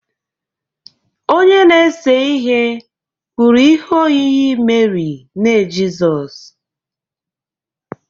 Onye na-ese ihe kpụrụ ihe oyiyi Meri, nne Jizọs